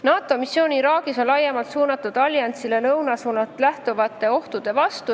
NATO missioon Iraagis on laiemalt suunatud ohu vastu, mis ähvardab allianssi lõunasuunalt.